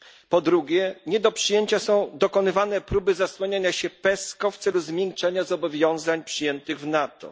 Po drugie, nie do przyjęcia są dokonywane próby zasłaniania się PESCO w celu zmiękczenia zobowiązań przyjętych w NATO.